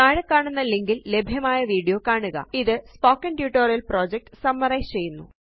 താഴെക്കാണുന്ന link ല് ലഭ്യമായ video കാണുക ഇത് സ്പോക്കൻ ട്യൂട്ടോറിയൽ പ്രൊജക്ട് സമ്മരൈസ് ചെയ്യുന്നു